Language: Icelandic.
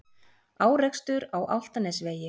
Árekstur á Álftanesvegi